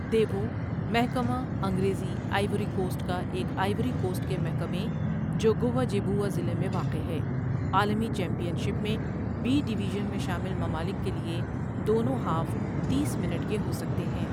دیوو محکمہ انگریزی Ivory Coast کا ایک آئیوری کوسٹ کے محکمے جو گؤہ جیبؤا ضلع میں واقع ہے عالمی چیمپئن شپ میں بی ڈویژن میں شامل ممالک کے لیے دونوں ہاف تیس منٹ کے ہو سکتے ہیں۔